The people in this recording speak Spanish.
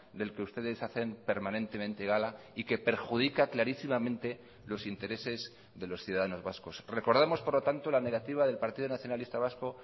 del que ustedes hacen permanentemente gala y que perjudica clarísimamente los intereses de los ciudadanos vascos recordamos por lo tanto la negativa del partido nacionalista vasco